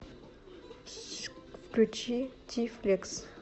включи ти флекс